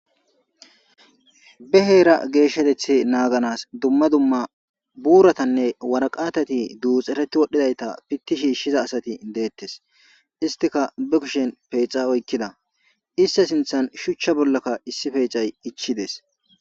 be heera geeshatethe naaganas dumma dumma buuratanne waraqatati duuxereti wodhdhidayta pitti shiishshiza asati deettes istika bi kushen peexa oykkida ista sinthan shuchcha bollakka issi peexay ichides